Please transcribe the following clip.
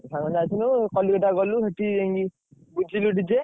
ସାଙ୍ଗ ସହ ଯାଇଥିଲୁ କଲିକତା ଗଲୁ ସେଠି ବୁଝିଲୁ DJ ।